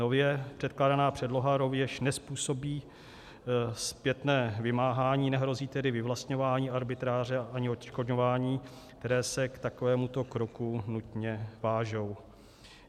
Nově předkládaná předloha rovněž nezpůsobí zpětné vymáhání, nehrozí tedy vyvlastňování, arbitráže ani odškodňování, které se k takovémuto kroku nutně vážou.